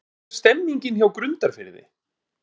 Hvernig er stemningin hjá Grundarfirði?